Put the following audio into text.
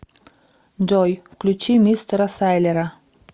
джой включи мистера сайлера